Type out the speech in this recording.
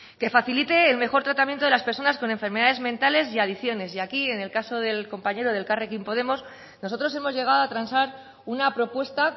que facilite el mejor tratamiento de las personas con enfermedades mentales y adicciones y aquí en el caso del compañero de elkarrekin podemos nosotros hemos llegado a transar una propuesta